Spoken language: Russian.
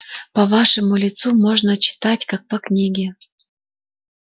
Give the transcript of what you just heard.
по вашему лицу можно читать как по книге